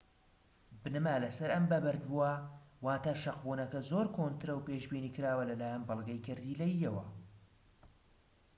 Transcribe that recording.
بنەما لەسەر ئەم بەبەردبووە واتە شەقبونەکە زۆر کۆنترە و پێشبینیکراوە لەلایەن بەڵگەی گەردیلەییەوە